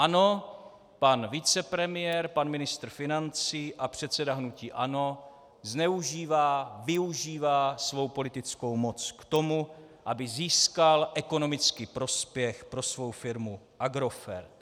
Ano, pan vicepremiér, pan ministr financí a předseda hnutí ANO zneužívá, využívá svou politickou moc k tomu, aby získal ekonomický prospěch pro svou firmu Agrofert.